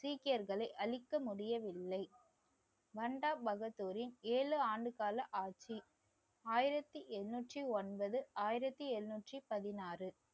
சீக்கியர்களை அழிக்க முடியவில்லை பண்டாபகதூரின் ஏழு ஆண்டு கால ஆட்சி ஆயிரத்தி எண்ணூற்றி ஒன்பது ஆயிரத்தி எழுநூற்றி பதினாறு